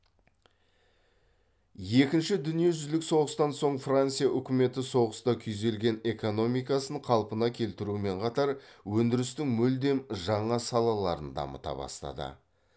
екінші дүниежүзілік соғыстан соң франция үкіметі соғыста күйзелген экономикасын қалпына келтірумен қатар өндірістің мүлдем жаңа салаларын дамыта бастады